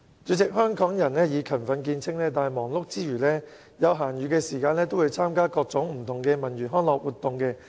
主席，香港人以勤奮見稱，但忙碌之餘，有閒暇時亦會參與各種不同文娛康樂活動。